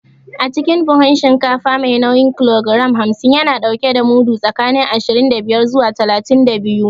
Acikin buhun shinkafa mai nauyin kilogiram hamsin, yana ɗauke da mudu tsakanin ashirin da biyar zuwa talatin da biyu.